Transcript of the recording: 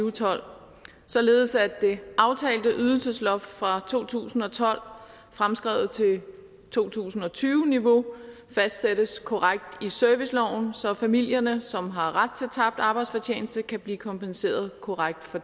og tolv således at det aftalte ydelsesloft fra to tusind og tolv fremskrevet til to tusind og tyve niveau fastsættes korrekt i serviceloven så familierne som har ret til tabt arbejdsfortjeneste kan blive kompenseret korrekt for